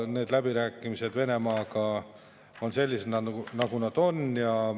Need läbirääkimised Venemaaga on sellised, nagu nad on.